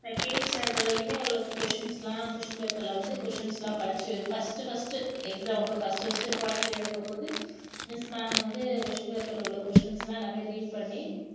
second standard வரைக்குமே ஓரளவுக்கு questions எல்லாம் question paper வந்து questions எல்லாம் படிச்சி first first exam அப்போ first first quarterly எழுதும்போது miss ma'am வந்து question paper ல உள்ள questions எல்லாம் எல்லாமே read பண்ணி